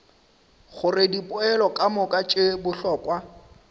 gore dipoelo kamoka tše bohlokwa